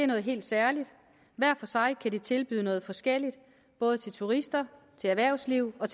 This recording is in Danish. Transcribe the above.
noget helt særligt hver for sig kan de tilbyde noget forskelligt både til turister erhvervslivet og